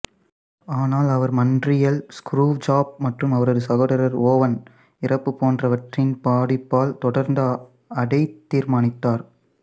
ஆனால் அவர் மாண்ட்ரீயல் ஸ்குரூவ்ஜாப் மற்றும் அவரது சகோதரர் ஓவன் இறப்பு போன்றவற்றின் பாதிப்பால் தொடர்ந்து அதைத் தீர்மானித்தர்